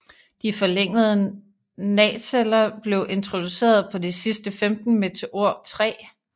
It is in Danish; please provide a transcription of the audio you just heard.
De forlængede naceller blev introduceret på de sidste 15 Meteor III